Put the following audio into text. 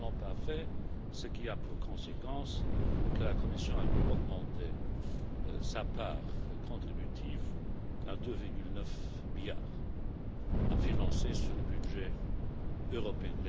Ils ne l'ont pas fait, ce qui a pour conséquence que la Commission a dû augmenter sa part contributive à 2,9 milliards, à financer sur le budget européen.